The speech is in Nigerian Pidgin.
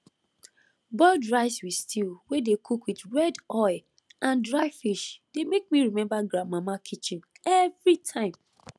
boiled rice with stew wey dey cook with red oil and dry fish dey make me remember grandmama kitchen everytime